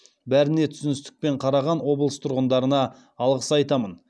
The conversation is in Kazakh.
бәріне түсіністікпен қараған облыс тұрғындарына алғыс айтамын